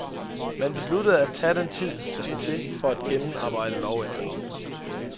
Man besluttede at tage den tid, der skal til for at gennemarbejde lovændringen.